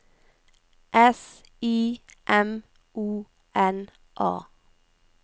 S I M O N A